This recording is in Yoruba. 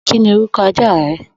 Kí ni orúkọ aja rẹ?